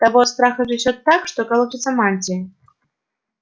того от страха трясёт так что колотится мантия